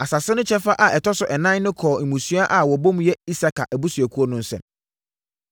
Asase no kyɛfa a ɛtɔ so ɛnan no kɔɔ mmusua a wɔbɔ mu yɛ Isakar abusuakuo no nsam.